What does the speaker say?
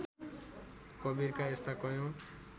कवीरका यस्ता कैयौँ